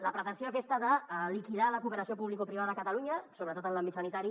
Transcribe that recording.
la pretensió aquesta de liquidar la cooperació publicoprivada a catalunya sobretot en l’àmbit sanitari